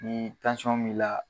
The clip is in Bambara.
Ni b'i la